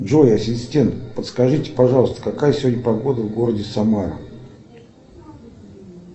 джой ассистент подскажите пожалуйста какая сегодня погода в городе самара